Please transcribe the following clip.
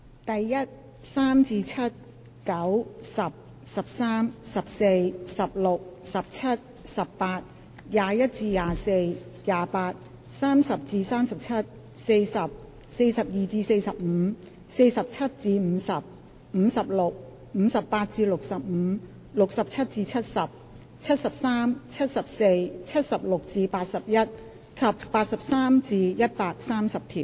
第1、3至7、9、10、13、14、16、17、18、21至24、28、30至37、40、42至45、47至50、56、58至65、67至70、73、74、76至81及83至130條。